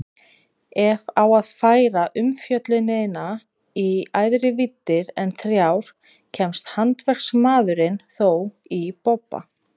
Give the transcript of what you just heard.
Ef á að færa umfjöllunina í æðri víddir en þrjár kemst handverksmaðurinn þó í bobba.